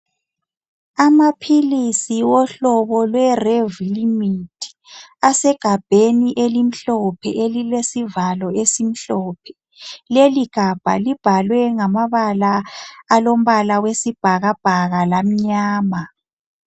Amaphilisi wohlobo lwe Revlimid asegabheni elimhlophe elilesivalo esimhlophe leligabha libhalwe ngamabala alombala wesibhakabhaka lamnyama.